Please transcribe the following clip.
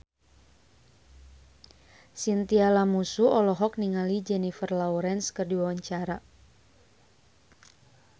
Chintya Lamusu olohok ningali Jennifer Lawrence keur diwawancara